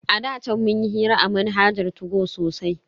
A da chan munyi hira a manhajar 2go sosai.